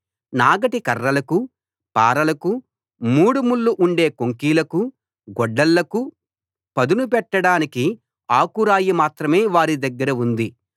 నాగటి కర్రలకు పారలకు మూడు ముళ్ళు ఉండే కొంకీలకు గొడ్డళ్ళకు పదును పెట్టడానికి ఆకురాయి మాత్రమే వారి దగ్గర ఉంది